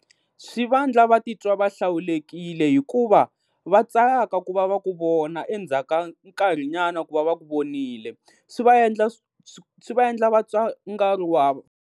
Swi va endla va ti twa va hlawulekile hikuva va tsaka ku va va ku vona endzhaku ka nkarhi nyana ku va va ku vonile swi va endla, swi va endla vatwa nga ri wa .